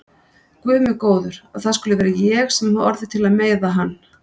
Guð minn góður að það skuli vera ég sem hef orðið til að meiða hann.